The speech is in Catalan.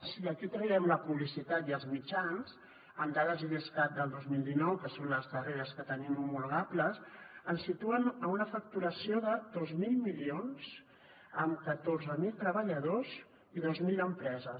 si d’aquí en traiem la publicitat i els mitjans amb dades de l’idescat del dos mil dinou que són les darreres que tenim homologables ens situem en una facturació de dos mil milions amb catorze mil treballadors i dos mil empreses